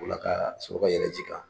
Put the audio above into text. Ola ka soro ka yɛrɛ ji kan